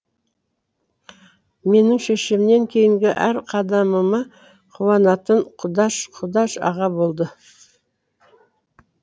менің шешемнен кейінгі әр қадамыма қуанатын құдаш құдаш аға болды